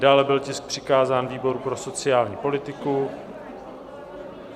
Dále byl tisk přikázán výboru pro sociální politiku.